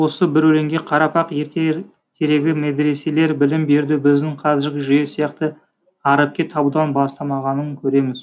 осы бір өлеңге қарап ақ ертеректегі медреселер білім беруді біздің қазіргі жүйе сияқты әріпке табудан бастамағанын көреміз